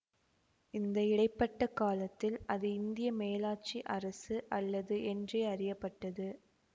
இந்த இடை பட்ட காலத்தில் அது இந்திய மேலாட்சி அரசு அல்லது என்றே அறிய பட்டது